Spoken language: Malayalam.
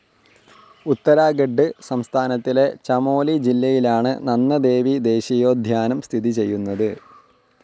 ഉത്തരാഖണ്ഡ് സംസ്ഥാനത്തിലെ ചമോലി ജില്ലയിലാണ് നന്ദദേവി ദേശീയോദ്യാനം സ്ഥിതി ചെയ്യുന്നത്